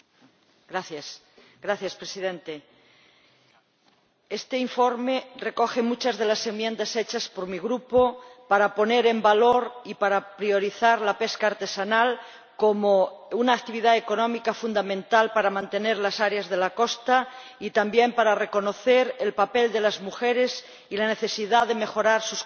Este informe recoge muchas de las enmiendas presentadas por mi Grupo para poner en valor y para priorizar la pesca artesanal como una actividad económica fundamental para mantener las zonas costeras y para reconocer el papel de las mujeres y la necesidad de mejorar sus condiciones de trabajo. A pesar de ello me he abstenido